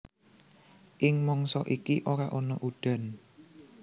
Ing mangsa iki ora ana udan